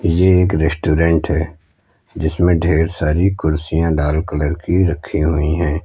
ये एक रेस्टोरेंट है जिसमें ढेर सारी कुर्सियां लाल कलर की रखी हुई है।